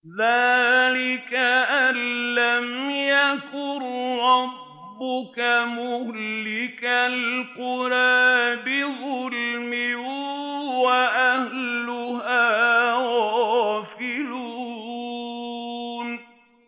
ذَٰلِكَ أَن لَّمْ يَكُن رَّبُّكَ مُهْلِكَ الْقُرَىٰ بِظُلْمٍ وَأَهْلُهَا غَافِلُونَ